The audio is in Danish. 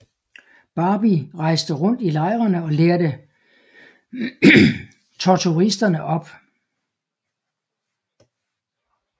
Barbie rejste rundt i lejrene og lærte torturisterne op